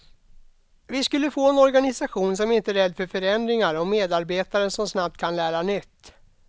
Vi skulle få en organisation som inte är rädd för förändringar och medarbetare som snabbt kan lära nytt.